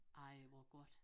Ej hvor godt